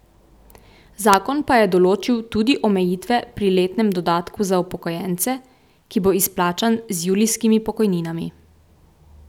Zakon pa je določil tudi omejitve pri letnem dodatku za upokojence, ki bo izplačan z julijskimi pokojninami.